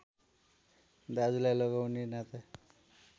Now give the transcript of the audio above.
दाजुलाई लगाउने नाता